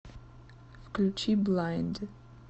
включи блайнд